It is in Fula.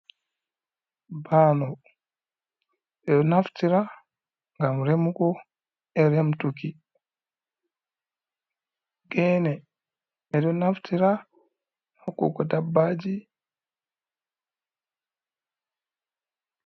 Bano bedo naftira gam remugo eriamtuki ,gene edo naftira hokkugo dabbaji.